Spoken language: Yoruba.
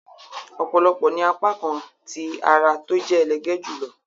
òpòlopò ní apakan tí àrà tó jẹ elege jùlọ